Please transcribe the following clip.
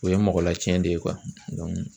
O ye mɔgɔla tiiɲɛn de ye